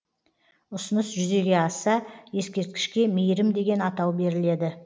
ұсыныс жүзеге асса ескерткішке мейірім деген атау беріледі